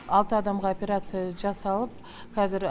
алты адамға операция жасалып қазір